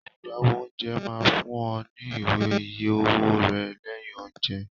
Olùgbàwò oúnjẹ máa fún ọ ní ìwé-iye owó rẹ lẹyìn oúnjẹ